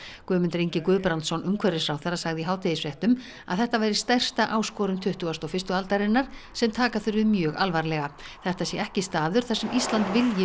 Guðmundur Ingi Guðbrandsson umhverfisráðherra sagði í hádegisfréttum að þetta væri stærsta áskorun tuttugustu og fyrstu aldarinnar sem taka þurfi mjög alvarlega þetta sé ekki staður þar sem Ísland vilji